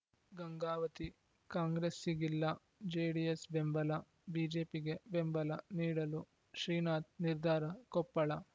ಗಂಗಾವತಿ ಕಾಂಗ್ರೆಸ್ಸಿಗಿಲ್ಲ ಜೆಡಿಎಸ್‌ ಬೆಂಬಲ ಬಿಜೆಪಿಗೆ ಬೆಂಬಲ ನೀಡಲು ಶ್ರೀನಾಥ್‌ ನಿರ್ಧಾರ ಕೊಪ್ಪಳ